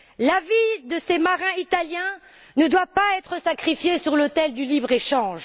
La vie de ces marins italiens ne doit pas être sacrifiée sur l'autel du libre échange.